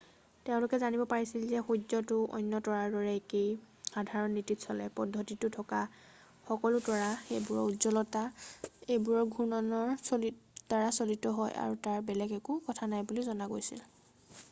তেওঁলোকে জানিব পাৰিছিল যে সূৰ্যটো অন্য তৰাৰ দৰে একেই সাধাৰণ নীতিত চলে পদ্ধতিটোত থকা সকলো তৰা সেইবোৰৰ উজ্জ্বলতা সেইবোৰৰ ঘূৰ্ণনৰ দ্বাৰা চালিত হয় আৰু তাত বেলেগ একো কথা নাই বুলি জনা গৈছিল